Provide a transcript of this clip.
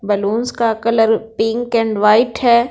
Balloons colour pink and white है।